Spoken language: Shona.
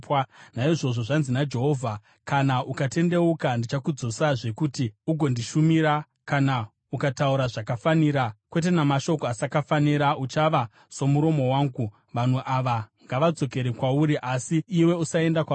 Naizvozvo zvanzi naJehovha: “Kana ukatendeuka, ndichakudzosazve kuti ugondishumira; kana ukataura zvakafanira, kwete mashoko asakafanira, uchava munhu anotaura akandimirira. Vanhu ava ngavadzokere kwauri, asi iwe usaenda kwavari.